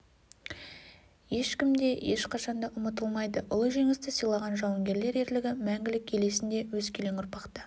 ешкім де ешқашан да ұмытылмайды ұлы жеңісті сыйлаған жауынгерлер ерлігі мәңгілік ел есінде өскелең ұрпақ та